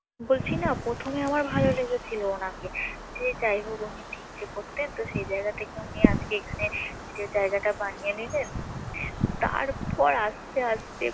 বলছি না প্রথমে আমার ভাল লেগেছিল ওনাকে যে যাই হোক উনি ভিক্ষে করতেন তো সেই জায়গা থেকে উনি আজকে এখানে যে জায়গাটা বানিয়ে নিলেন তারপর আস্তে আস্তে